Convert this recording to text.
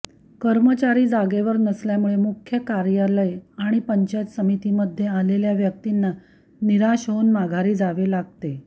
कर्मचारी जागेवर नसल्यामुळे मुख्य कार्यालय किंवा पंचायत समितीमध्ये आलेल्या व्यक्तींना निराश होवून माघारी जावे लागते